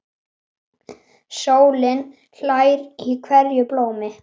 Sólin hlær í hverju blómi.